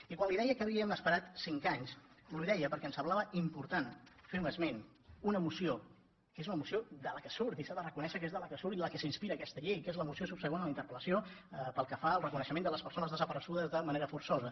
i quan li deia que havíem esperat cinc anys li ho deia perquè em semblava important fer un esment d’una moció que és una moció de què surt i s’ha de reconèixer i en què s’inspira aquesta llei que és la moció subsegüent a la interpel·lació pel que fa al reconeixement de les persones desaparegudes de manera forçosa